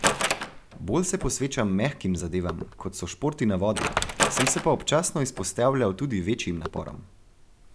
Bolj se posvečam mehkim zadevam, kot so športi na vodi, sem se pa občasno izpostavljal tudi večjim naporom.